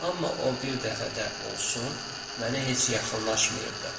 Amma o bir dəfə də olsun mənə heç yaxınlaşmayıb.